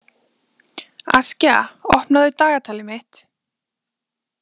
Askja, opnaðu dagatalið mitt.